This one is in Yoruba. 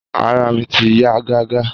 Àrà mi ti yà gàgà.